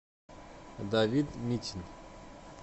давид митин